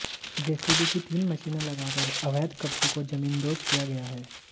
JCB की तीन मशीनें लगा कर अवैध कब्जों को जमींदोज किया गया है